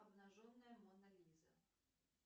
обнаженная мона лиза